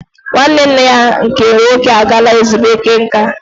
Nwanne nne ya nke nwoke agaala ezumike nka